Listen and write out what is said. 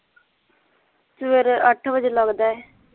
ਸਵੇਰੇ ਅੱਠ ਵਜੇ ਲੱਗਦਾ ਹੈ